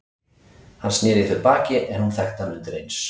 Hann sneri í þau baki en hún þekkti hann undir eins.